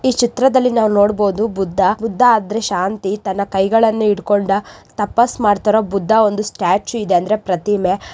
ಈ ಚಿತ್ರದಲ್ಲಿ ನೋಡಬಹುದು. ಬುದ್ಧ ಬುದ್ಧ ಶಾಂತಿ ತನ್ನ ಕೈಗಳನ್ನು ಇಟ್ಟುಕೊಂಡ ತಪಸ್ ಮಾಡ್ತಾರೋ ಬುದ್ಧ ಒಂದು ಸ್ಟ್ಯಾಚು ಇದ್ರೆ ಪ್ರತಿಮೆ.